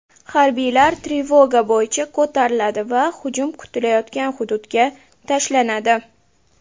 Harbiylar trevoga bo‘yicha ko‘tariladi va hujum kutilayotgan hududga tashlanadi.